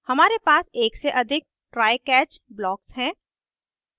हमारे पास एक से अधिक try catch blocks हैं